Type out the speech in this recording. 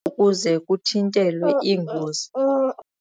ukuze kuthintelwe iingozi.